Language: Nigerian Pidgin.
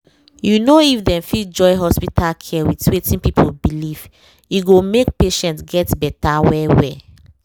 you know if dem fit join hospital care with wetin people believe e go make patients get better well-well